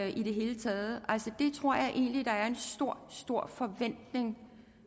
i det hele taget altså det tror jeg egentlig der er en stor stor forventning